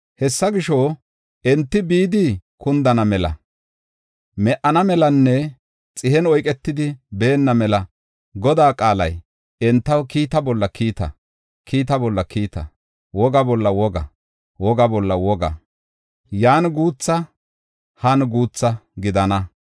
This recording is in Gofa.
Hessa gisho, enti bidi kundana mela, me77ana melanne xihen oyketidi baana mela Godaa qaalay entaw kiita bolla kiita, kiita bolla kiita; woga bolla woga, woga bolla woga; yan guutha han guutha gidana.